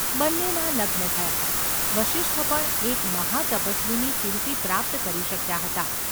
બંનેના લગ્ન થયાં. વસિષ્ઠ પણ એક મહાતપસ્વીની કીર્તિ પ્રાપ્ત કરી શક્યા હતા.